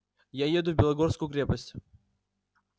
я еду в белогорскую крепость